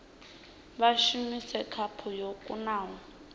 vha shumise khaphu yo kunaho